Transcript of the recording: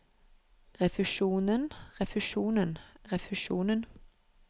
refusjonen refusjonen refusjonen